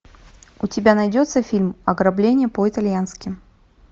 у тебя найдется фильм ограбление по итальянски